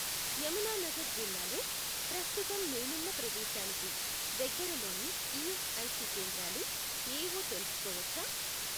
యమునానగర్ జిల్లాలో ప్రస్తుతం నేనున్న ప్రదేశానికి దగ్గరలోని ఈఎస్ఐసి కేంద్రాలు ఏవో తెలుస్కోవచ్చా?